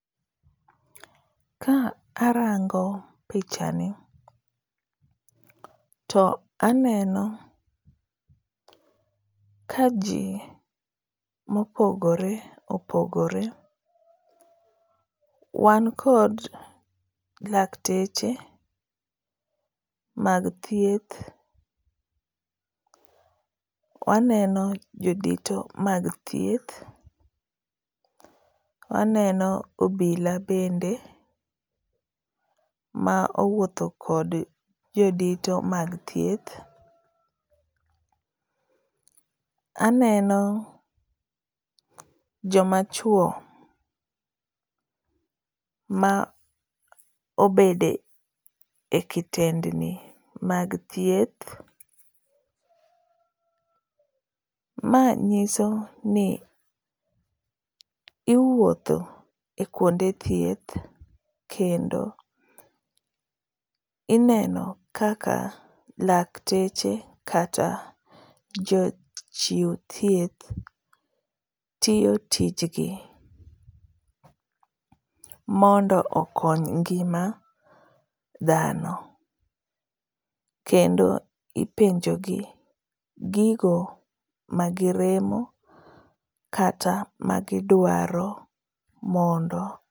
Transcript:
Ka arango pichani, to aneno ka ji mopogore opogore. Wan kod lakteche mag thieth. Waneno jodito mag thieth. Waneno obila bende ma owuotho kod jodito mag thieth. Aneno joma chwo ma obede ekitendni mag thieth. Ma nyiso ni iwuotho e kuonde thieth kendo ineno kaka lakteche kata jochiuw thieth tiyo tijgi mondo okony ngima dhano. Kendo ipenjo gi gigo magiremo kata magidwaro mondo.